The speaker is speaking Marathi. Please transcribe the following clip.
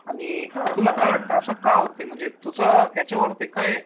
आणि तुला का वाटतं असं का होतंय म्हणजे तुचं याच्यावरती काय